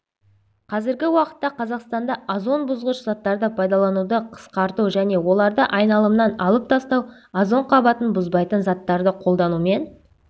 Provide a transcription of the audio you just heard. қазіргі уақытта қазақстанда озон бұзғыш заттарды пайдалануды қысқарту және оларды айналымнан алып тастау озон қабатын бұзбайтын заттарды қолданумен